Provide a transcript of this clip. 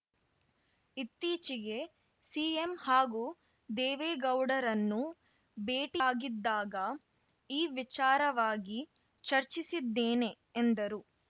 ಇತ್ತಿಚೆಗೆ CM ಹಾಗೂ ದೇವೇಗೌಡರನ್ನು ಭೇಟಿಆಗಿದ್ದಾಗ ಈ ವಿಚಾರವಾಗಿ ಚರ್ಚೆಸಿದ್ದೇನೆ ಎಂದರು